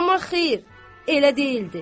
Amma xeyr, elə deyildi.